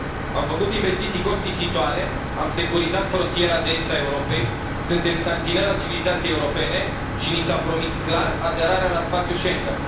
Am făcut investiții costisitoare, am securizat frontiera de est a Europei, suntem santinelă a civilizației europene și ni s a promis clar aderarea la spațiul Schengen.